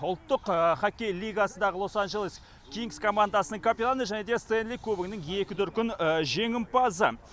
ұлттық хоккей лигасындағы лос анджелес кингз командасының капитаны және де стэнли кубогының екі дүркін жеңімпазы